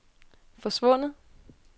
forsvundet